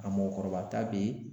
A mɔgɔkɔrɔba ta bɛ yen.